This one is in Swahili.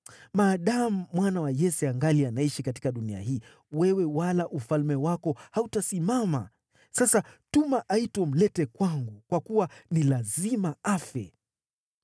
Maadamu mwana wa Yese angali anaishi katika dunia hii wewe wala ufalme wako hautasimama. Sasa tuma aitwe umlete kwangu, kwa kuwa ni lazima afe!”